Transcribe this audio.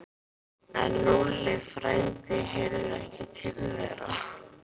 En Lúlli frændi heyrði ekki til þeirra.